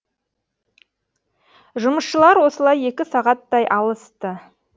жұмысшылар осылай екі сағаттай алысты